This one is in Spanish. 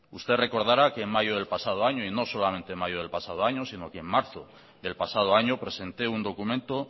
usted recordara que en mayo del pasado año y no solamente en mayo del pasado año sino que en marzo del pasado año presenté un documento